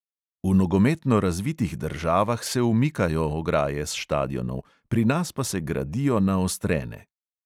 V nogometno razvitih državah se umikajo ograje s štadionov, pri nas pa se gradijo naostrene.